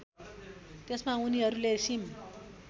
त्यसमा उनीहरूले सिम